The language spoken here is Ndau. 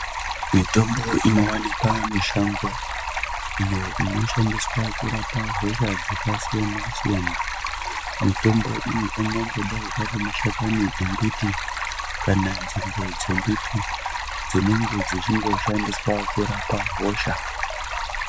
Mitombo inowanikwa mishango iyo inoshandiswa kurapa hosha dzaka siyana siyana mitombo iyi angangodai ari mashakani embiti kana nzinde dze mbiti dzinenge dzichingo shandiswa kurapa hosha.